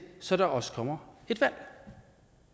så der også kommer et valg